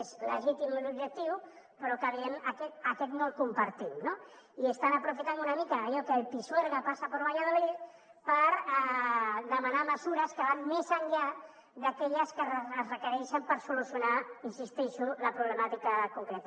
és legítim l’objectiu però evidentment aquest no el compartim no i estan aprofitant una mica allò que el pisuerga pasa por valladolid per demanar mesures que van més enllà d’aquelles que es requereixen per solucionar hi insistei·xo la problemàtica concreta